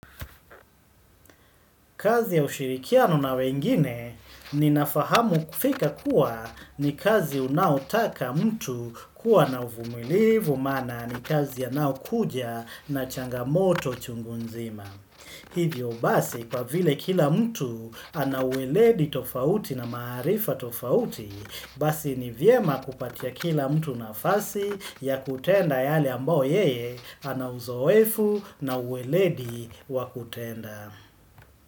Kazi ya ushirikiano na wengine ni nafahamu kufika kuwa ni kazi unaotaka mtu kuwa na uvumilivu mana ni kazi ya nao kuja na changamoto chungunzima. Hivyo basi kwa vile kila mtu anaweledi tofauti na maarifa tofauti, basi ni vyema kupatia kila mtu nafasi ya kutenda yale ambao yeye anauzoefu na ueledi wakutenda.